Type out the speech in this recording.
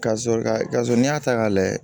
Ka sɔrɔ ka so n'i y'a ta k'a layɛ